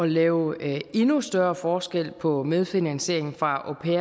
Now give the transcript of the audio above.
lave endnu større forskel på medfinansieringen fra